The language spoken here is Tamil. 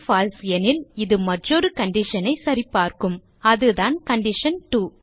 பால்சே எனில் இது மற்றொரு கண்டிஷன் ஐ சரிபார்க்கும் அதுதான் கண்டிஷன்2